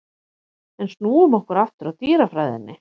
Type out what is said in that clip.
En snúum okkur aftur að dýrafræðinni.